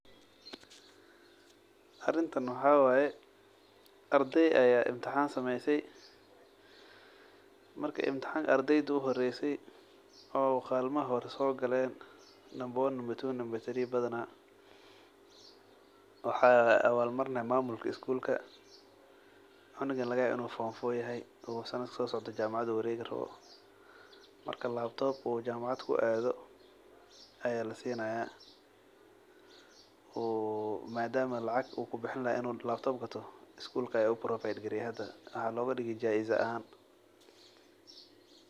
Arintan waxa wye ardey aya intixan gashe marka kadib ardeyda uhoreyse ee kalinta hore sogala number one, two, three sogalan waxa awal marini mamulka skulka cunugan lagayawo inu forrrrm four yahay oo jamacad uwaregi rawo marka labtop uu jamacad akuisticmalayo aya lasinaya marka madama uu laacag uu kubixini laha inu labtob gato jamacada aya jaizo ahaan ugusinayo.